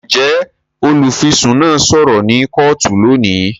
Njẹ olufisun náà sọrọ ni kootu lóni?